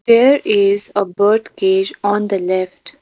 there is a bird cage on the left.